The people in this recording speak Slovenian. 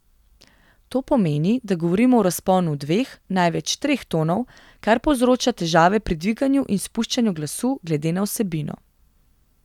To pomeni, da govorimo v razponu dveh, največ treh tonov, kar povzroča težave pri dviganju in spuščanju glasu glede na vsebino.